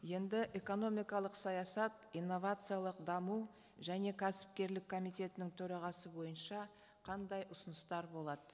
енді экономикалық саясат инновациялық даму және кәсіпкерлік комитетінің төрағасы бойынша қандай ұсыныстар болады